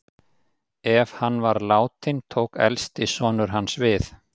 Ef hann var látinn tók elsti sonur hans við.